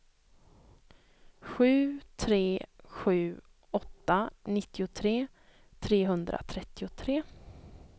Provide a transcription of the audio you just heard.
sju tre sju åtta nittiotre trehundratrettiotre